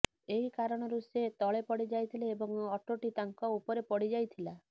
ଏହି କାରଣରୁ ସେ ତଳେ ପଡ଼ିଯାଇଥିଲେ ଏବଂ ଅଟୋଟି ତାଙ୍କ ଉପରେ ପଡ଼ିଯାଇଥିଲା